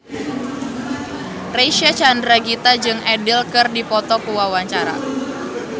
Reysa Chandragitta jeung Adele keur dipoto ku wartawan